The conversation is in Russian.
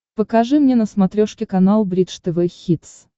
покажи мне на смотрешке канал бридж тв хитс